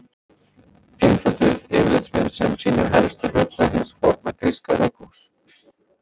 Einfölduð yfirlitsmynd sem sýnir helstu hluta hins forna gríska leikhúss.